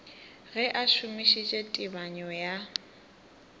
ge a šomišitše tebanyo ya